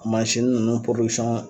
Mansini ninnu